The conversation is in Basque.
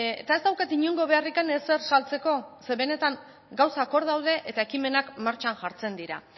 eta ez daukat inongo beharrik ezer saltzeko zeren benetan gauzak hor daude eta ekimenak martxan jartzen dira